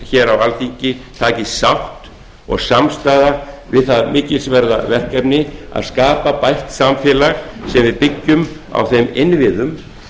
hér á alþingi takist sátt og samstaða við það mikilsverða verkefni að skapa bætt samfélag sem við byggjum á þeim innviðum